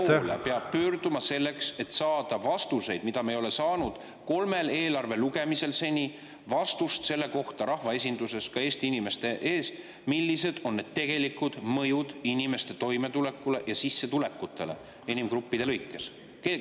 Kelle poole peab pöörduma selleks, et saada vastust, mida me ei ole seni saanud kolmel eelarve lugemisel rahvaesinduses, Eesti inimeste ees, millised on tegelikud mõjud inimeste toimetulekule ja sissetulekutele inimgruppide lõikes?